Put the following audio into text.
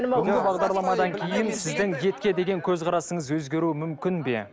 бүгін бағдарламадан кейін сіздің етке деген көзқарасыңыз өзгеруі мүмкін бе